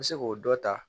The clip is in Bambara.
N bɛ se k'o dɔ ta